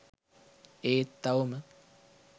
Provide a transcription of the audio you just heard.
ඒත් තවම